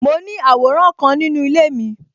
Mo ní àwòrán kan nínú ilé mi